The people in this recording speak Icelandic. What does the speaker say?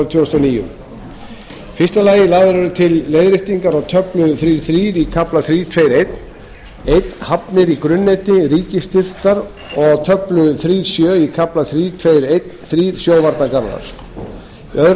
tvö þúsund og níu fyrstu lagðar eru til leiðréttingar á töflu þriggja til þrjú í kafla þrjú tveggja ellefu hafnir í grunnneti ríkisstyrktar og töflu þriggja til sjö í kafla þrjú tveggja þrettán sjóvarnargarðar